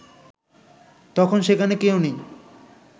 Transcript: তখন সেখানে কেউ নেই